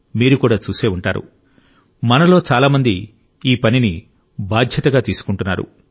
మీరు కూడా చూసి ఉంటారు మనలో చాలా మంది ఈ పనిని బాధ్యతగా తీసుకుంటున్నారు